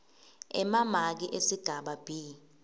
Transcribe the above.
emamaki esigaba b